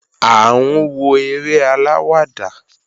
À ń wo eré aláwàdà